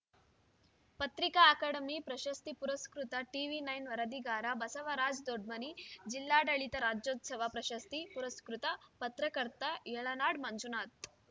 ಪತ್ರಿಕಾ ಅಕಾಡೆಮಿ ಪ್ರಶಸ್ತಿ ಪುರಸ್ಕೃತ ಟಿವಿ ನೈನ್ ವರದಿಗಾರ ಬಸವರಾಜ ದೊಡ್ಮನಿ ಜಿಲ್ಲಾಡಳಿತ ರಾಜ್ಯೋತ್ಸವ ಪ್ರಶಸ್ತಿ ಪುರಸ್ಕೃತ ಪತ್ರಕರ್ತ ಯಳನಾಡ ಮಂಜುನಾಥ